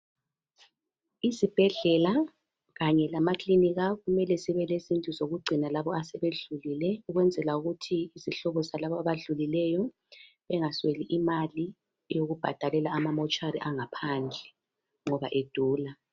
Izibhedlela kanye lamakilinika kumele zibelezindlu ezokugcina labo asebedlulile ukwenzela ukuthi izihlobo zalabo abadlulileyo bengasweli imali yokubhadalela amamotuary angaphandle ngoba edula.